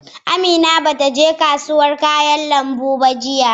Amina bata je kasuwar kayan lambu ba jiya.